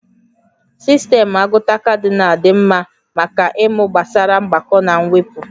Sistemụ agụta Kadịnal dị mma maka ịmụ gbasara mgbakọ na mwepụ